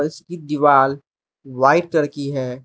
इसकी दीवाल white colour की है।